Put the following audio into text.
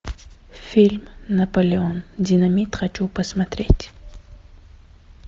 фильм наполеон динамит хочу посмотреть